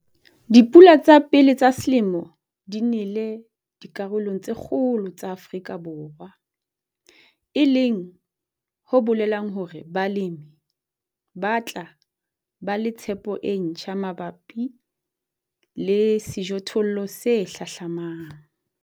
Dipula tsa pele tsa selemo di nele dikarolong tse kgolo tsa Afrika Borwa, e leng ho bolelang hore balemi ba tla ba le tshepo e ntjha mabapi le sejothollo se hlahlamang.